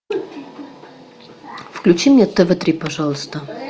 включи мне тв три пожалуйста